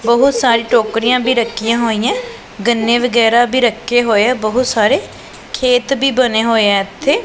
ਬੋਹੁਤ ਸਾਰੀਆਂ ਟੋੱਕ੍ਰਿਆਂ ਵੀ ਰੱਖੀਆਂ ਹੋਈ ਆਂ ਗੰਨੇ ਵਗੈਰਾ ਵੀ ਰੱਖੇ ਹੋਏ ਆ ਬੋਹੁਤ ਸਾਰੇ ਖੇਤ ਵੀ ਬਨੇ ਹੋਏ ਆ ਏੱਥੇ।